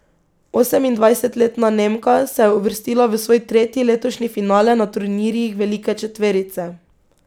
Osemindvajsetletna Nemka se je uvrstila v svoj tretji letošnji finale na turnirjih velike četverice.